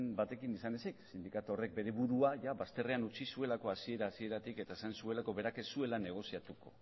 batekin izan ezik sindikatu horrek bere burua bazterrean utzi zuelako hasiera hasieratik eta esan zuelako berak ez zuela negoziatuko